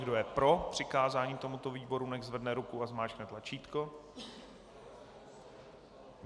Kdo je pro přikázání tomuto výboru, nechť zvedne ruku a zmáčkne tlačítko.